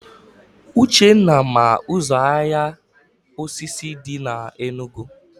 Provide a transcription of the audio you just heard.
Uchenna ma ụzọ ahịa osisi dị na Enugu